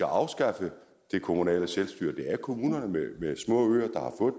afskaffe det kommunale selvstyre det er kommuner med små øer